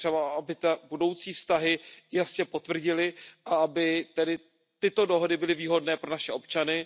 To je třeba, aby budoucí vztahy jasně potvrdily a aby tedy tyto dohody byly výhodné pro naše občany.